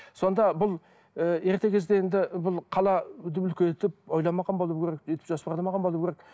сонда бұл ыыы ерте кезде енді бұл қала үлкейтіп ойламаған болу керек өйтіп жоспарламаған болу керек